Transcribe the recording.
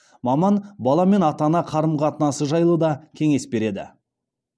маман бала мен ата ана қарым қатынасы жайлы да кеңес береді